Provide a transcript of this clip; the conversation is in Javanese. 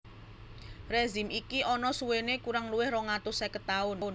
Rezim iki ana suwene kurang luwih rong atus seket taun